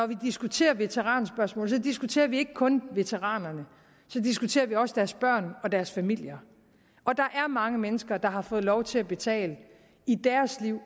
diskuterer veteranspørgsmålet diskuterer vi ikke kun veteranerne så diskuterer vi også deres børn og deres familier og der er mange mennesker der har fået lov til at betale en i deres liv